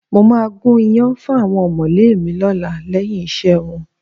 Mo máa gún iyán fún àwọn ọ̀mọ̀lé mi lọ́la lẹ́yìn iṣẹ́ wọn